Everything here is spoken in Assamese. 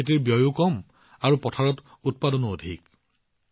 খেতিৰ ব্যয়ো কম হয় আৰু পথাৰত উৎপাদনো অধিক হয়